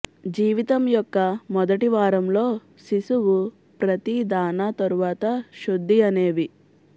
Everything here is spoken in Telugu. జీవితం యొక్క మొదటి వారంలో శిశువు ప్రతి దాణా తరువాత శుద్ధి అనేవి